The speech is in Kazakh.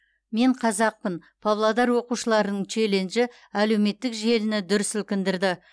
мен қазақпын павлодар оқушыларының челленджі әлеуметтік желіні дүр сілкіндірді